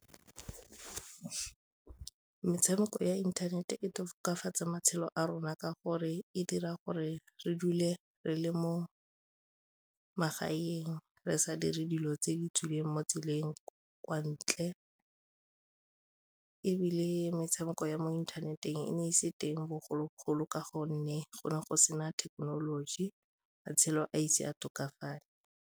Metshameko ya inthanete e tokafatsa matshelo a rona ka gore e dira gore re dule re le mo magaeng re sa dire dilo tse di tswileng mo tseleng kwa ntle ebile metshameko ya mo inthaneteng e ne e se teng bogologolo ka gonne go ne go sena thekenoloji, matshelo a ise a tokafale.